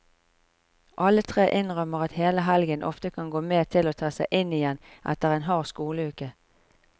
Alle tre innrømmer at hele helgen ofte kan gå med til å ta seg inn igjen etter en hard skoleuke.